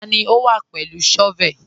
Tani o wá pẹ̀lú shọ́vẹ̀lì?